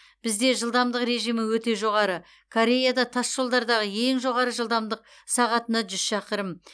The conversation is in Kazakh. бізде жылдамдық режимі өте жоғары кореяда тасжолдардағы ең жоғары жылдамдық сағатына жүз шақырым